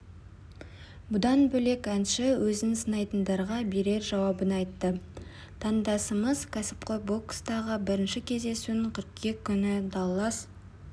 бұдан бөлек әнші өзін сынайтындарға берер жауабын айтты тандасымыз кәсіпқой бокстағы бірінші кездесуін қыркүйек күні даллас